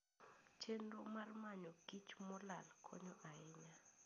Chenro mar manyo kich molal konyo ahinya.